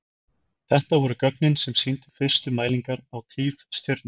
þetta voru gögnin sem sýndu fyrstu mælingar á tifstjörnum